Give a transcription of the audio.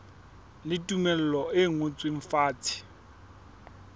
le tumello e ngotsweng fatshe